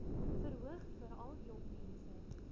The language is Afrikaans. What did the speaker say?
verhoog veral jongmense